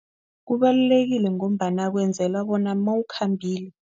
Kubalulekile ngombana kwenzela bona mawukhambile.